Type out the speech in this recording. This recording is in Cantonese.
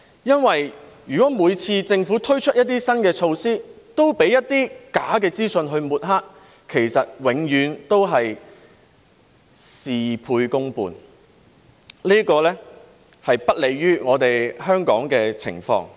因為如果政府每次推出新措施，都被一些假資訊抹黑，其實永遠只會事倍功半，這是不利香港的情況。